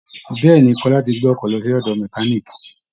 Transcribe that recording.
bẹ́ẹ̀ ni, Kọ́lá ti gbé ọkọ̀ lọ sí ọ̀dọ̀ mẹkáníìkì